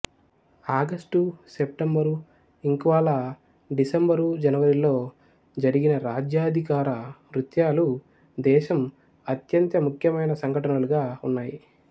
August September ఇంక్వాలా December జనవరిలో జరిగిన రాజ్యాధికార నృత్యాలు దేశం అత్యంత ముఖ్యమైన సంఘటనలుగా ఉన్నాయి